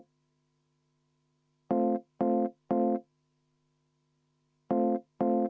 Rene Kokk, palun!